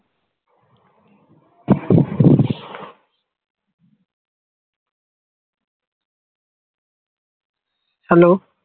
hello